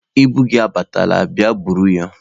Ibu gị abatala, bịa buru ya.